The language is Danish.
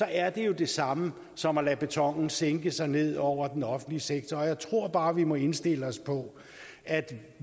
er det jo det samme som at lade betonen sænke sig ned over den offentlige sektor jeg tror bare vi må indstille os på at